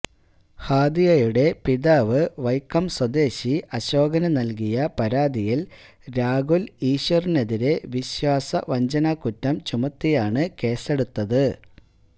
ഹാദിയയുടെ പിതാവ് വൈക്കം സ്വദേശി അശോകന് നല്കിയ പരാതിയില് രാഹുല് ഈശ്വറിനെതിരെ വിശ്വാസ വഞ്ചനാക്കുറ്റം ചുമത്തിയാണ് കേസെടുത്തത്